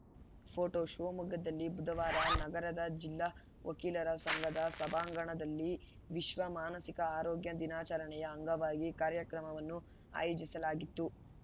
photo ಶಿವಮೊಗ್ಗದಲ್ಲಿ ಬುಧವಾರ ನಗರದ ಜಿಲ್ಲಾ ವಕೀಲರ ಸಂಘದ ಸಭಾಂಗಣದಲ್ಲಿ ವಿಶ್ವ ಮಾನಸಿಕ ಆರೋಗ್ಯ ದಿನಾಚರಣೆಯ ಅಂಗವಾಗಿ ಕಾರ್ಯಕ್ರಮವನ್ನು ಆಯೋಜಿಸಲಾಗಿತ್ತು